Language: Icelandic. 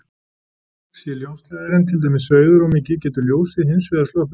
Sé ljósleiðarinn til dæmis sveigður of mikið getur ljósið hins vegar sloppið út.